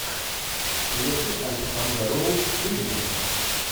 в клетке александра роу выведи мне